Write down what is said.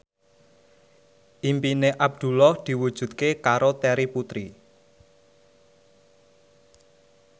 impine Abdullah diwujudke karo Terry Putri